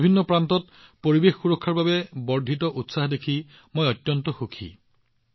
দেশৰ বিভিন্ন প্ৰান্তত পৰিৱেশ সুৰক্ষাৰ বাবে বৰ্ধিত উৎসাহ দেখি মই অত্যন্ত সুখী